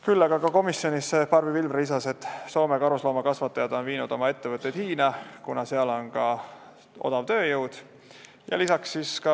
Küll aga komisjonis Barbi Pilvre lisas, et Soome karusloomakasvatajad on viinud oma ettevõtted Hiina, kuna seal on ka odav tööjõud.